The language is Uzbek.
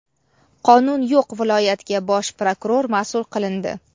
"Qonun yo‘q viloyat"ga bosh prokuror masʼul qilindi.